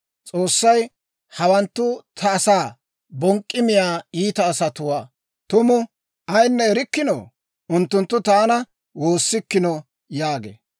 S'oossay, «Hawanttu ta asaa bonk'k'i miyaa iita asatuu tumu ayinne erikkinoo? Unttunttu taana woossikkino» yaagee.